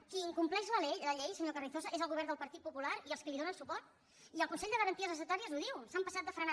qui incompleix la llei senyor carrizosa és el govern del partit popular i els qui li donen suport i el consell de garanties estatutàries ho diu s’han passat de frenada